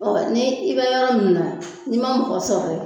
ni i bɛ yɔrɔ min na n'i man mɔgɔ sɔrɔ ye.